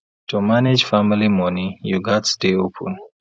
to manage family money you gats dey open